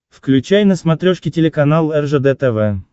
включай на смотрешке телеканал ржд тв